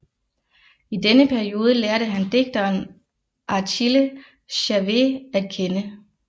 I denne periode lærte han digteren Achille Chavée at kende